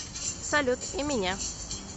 салют и меня